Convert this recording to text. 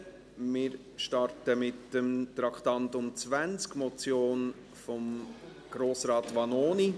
Wir starten mit dem Traktandum 20, der Motion von Grossrat Vanoni .